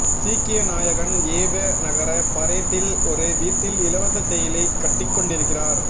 சீக்கிய நாயகன் யேவ நகர பரேட்டில் ஒரு வீட்டில் இலவச தேயிலைக் கட்டிக்கொண்டிருக்கிறார்